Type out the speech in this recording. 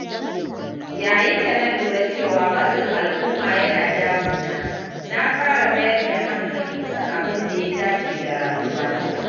Yayin da na lura cewa matsin al’umma yana damuna, na fara mayar da hankali kan abin da ya dace da rayuwata.